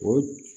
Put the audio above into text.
O